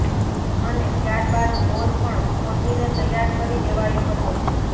અને ત્યારબાદ બોર પણ ખોદીને તૈયાર કરી દેવાયો હતો